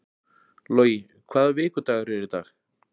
Logi, hvaða vikudagur er í dag?